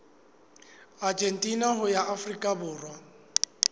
argentina ho ya afrika borwa